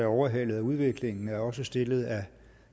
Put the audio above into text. overhalet af udviklingen er også stillet af